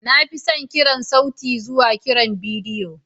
Na fi son kiran sauti zuwa kiran bidiyo.